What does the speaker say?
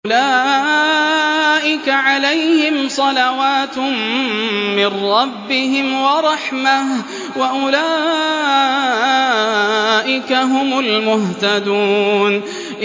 أُولَٰئِكَ عَلَيْهِمْ صَلَوَاتٌ مِّن رَّبِّهِمْ وَرَحْمَةٌ ۖ وَأُولَٰئِكَ هُمُ الْمُهْتَدُونَ